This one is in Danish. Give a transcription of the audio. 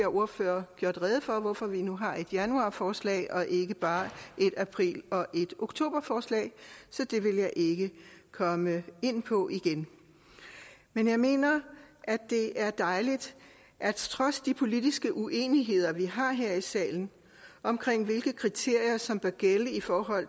ordfører gjort rede for altså hvorfor vi nu har et januarforslag og ikke bare et april og et oktoberforslag så det vil jeg ikke komme ind på igen men jeg mener at det er dejligt at trods de politiske uenigheder vi har her i salen om hvilke kriterier som bør gælde for